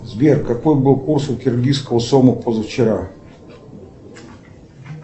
сбер какой был курс у киргизского сома позавчера